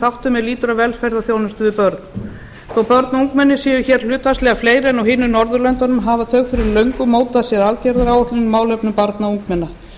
þáttum er lýtur að velferðarþjónustu við börn þó að börn og ungmenni séu hér hlutfallslega fleiri en á hinum norðurlöndunum hafa þau fyrir löngu mótað sér aðgerðaáætlun í málefnum barna og ungmenna